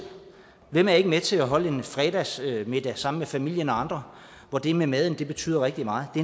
hvem er ikke med til at holde en fredagsmiddag sammen med familien og andre hvor det med maden betyder rigtig meget det